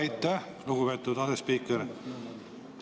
Aitäh, lugupeetud asespiiker!